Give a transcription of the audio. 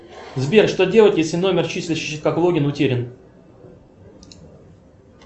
сбер что делать если номер числящийся как логин утерян